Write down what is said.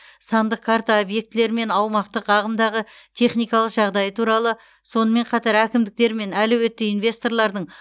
сандық карта объектілер мен аумақтық ағымдағы техникалық жағдайы туралы сонымен қатар әкімдіктер мен әлеуетті инвесторлардың